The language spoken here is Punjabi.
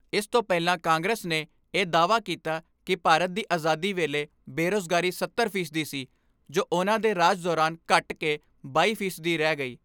ਇਸ ਤੋਂ ਪਹਿਲਾਂ ਕਾਂਗਰਸ ਨੇ ਇਹ ਦਾਅਵਾ ਕੀਤਾ ਕਿ ਭਾਰਤ ਦੀ ਆਜ਼ਾਦੀ ਵੇਲੇ ਬੇਰੁਜ਼ਗਾਰੀ ਸੱਤਰ ਫ਼ੀਸਦੀ ਸੀ ਜੋ ਉਨ੍ਹਾਂ ਦੇ ਰਾਜ ਦੌਰਾਨ ਘੱਟ ਕੇ ਬਾਈ ਫੀਸਦੀ ਰਹਿ ਗਈ।